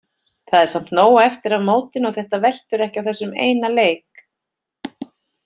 Það er samt nóg eftir af mótinu og þetta veltur ekki á þessum eina leik.